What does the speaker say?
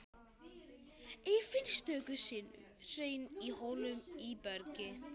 Eir finnst stöku sinnum hreinn í holum í bergi.